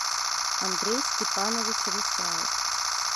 андрей степанович русяев